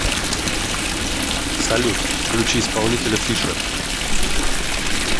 салют включи исполнителя фишер